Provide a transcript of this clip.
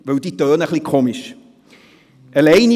Diese klingen nämlich etwas eigenartig;